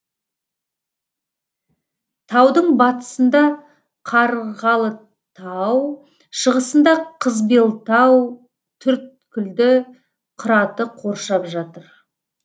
таудың батысында қарғалытау шығысында қызбелтау төрткілді қыраты қоршап жатыр